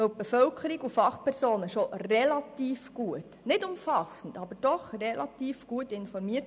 Die Bevölkerung und die Fachpersonen sind bereits relativ gut, nicht umfassend, aber doch immerhin relativ gut informiert.